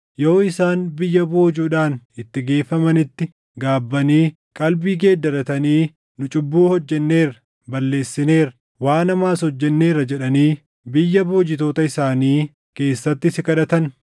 yoo isaan biyya boojuudhaan itti geeffamanitti gaabbanii qalbii geeddaratanii, ‘Nu cubbuu hojjenneerra; balleessineerra; waan hamaas hojjenneerra’ jedhanii biyya boojitoota isaanii keessatti si kadhatan,